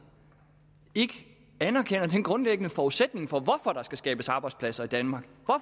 ikke anerkender den grundlæggende forudsætning for at der skabes arbejdspladser i danmark